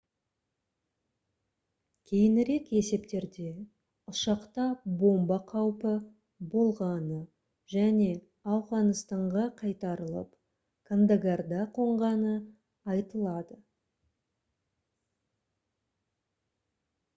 кейінірек есептерде ұшақта бомба қаупі болғаны және ауғанстанға қайтарылып кандагарда қонғаны айтылады